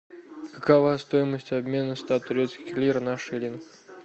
какова стоимость обмена ста турецких лир на шиллинг